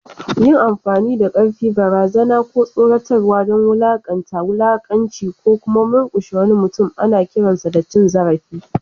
Yin amfani da ƙarfi, barazana, ko tsoratarwa don wulaƙanta, wulakanci, ko kuma murkushe wani mutum ana kiransa da cin zarafi.